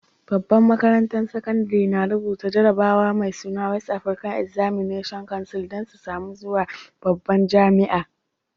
Babban makarantan sakandare na rubuta jarabawa mai suna West African Examination Council dan su samu zuwa babban jami'a.